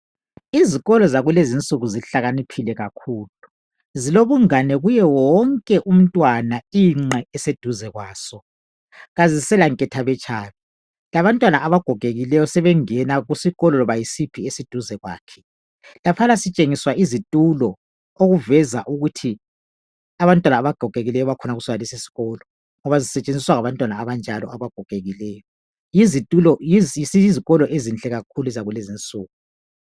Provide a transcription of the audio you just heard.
Izikolo zakulezi insuku zihlakaniphile kakhulu zilobungani kuwo wonke umntwana inxs eseduze kwaso kazisela nketha betshabe labantwana abagogekileyo sebengena loba yisiphi isikolo esiseduze kwakhe laphana sitshengiswa izitulo okuveza ukuthi abantwana abagogekileyo bakhona kulesi isikolo ngoba zisebenziswa ngabantwana abanjalo abagogekiyo iyizikolo ezinhle kakhulu zakulezi insuku